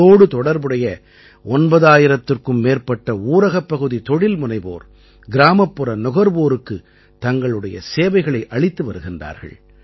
இதோடு தொடர்புடைய 9000த்திற்கும் மேற்பட்ட ஊரகப்பகுதி தொழில்முனைவோர் கிராமப்புற நுகர்வோருக்குத் தங்களுடைய சேவைகளை அளித்து வருகிறார்கள்